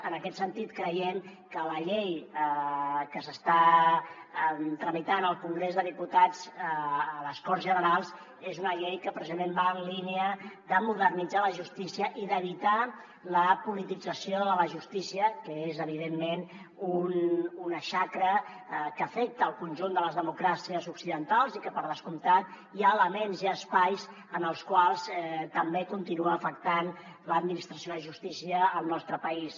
en aquest sentit creiem que la llei que s’està tramitant al congrés dels diputats a les corts generals és una llei que precisament va en línia de modernitzar la justícia i d’evitar la politització de la justícia que és evidentment una xacra que afecta el conjunt de les democràcies occidentals i que per descomptat hi ha elements hi ha espais en els quals també continua afectant l’administració de justícia al nostre país